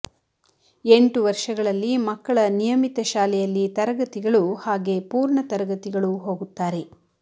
ಎಂಟು ವರ್ಷಗಳಲ್ಲಿ ಮಕ್ಕಳ ನಿಯಮಿತ ಶಾಲೆಯಲ್ಲಿ ತರಗತಿಗಳು ಹಾಗೆ ಪೂರ್ಣ ತರಗತಿಗಳು ಹೋಗುತ್ತಾರೆ